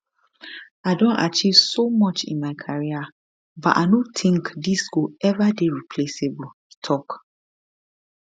i don achieve so much in my career but i no tink dis go eva dey replaceable e tok